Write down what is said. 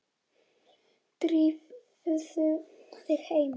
Drífðu þig heim.